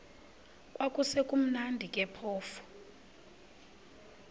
kwakusekumnandi ke phofu